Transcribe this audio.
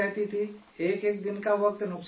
ایک ایک دن کا وقت نقصان ہوتا تھا